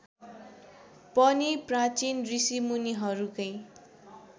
पनि प्राचीन ऋषिमुनिहरूकै